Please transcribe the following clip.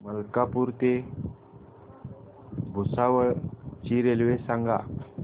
मलकापूर ते भुसावळ ची रेल्वे सांगा